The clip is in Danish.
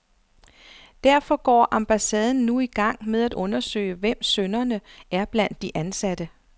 Derfor går ambassaden nu i gang med at undersøge, hvem synderne er blandt de ansatte.